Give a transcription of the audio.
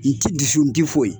N tɛ dusu tɛ foyi